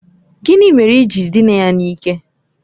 Gịnị mere i ji dịna ya n'ike?